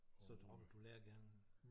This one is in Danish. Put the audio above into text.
Så droppede du lærergerningen?